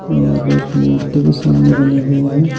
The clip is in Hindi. और एक भी सामने बनी हुई है।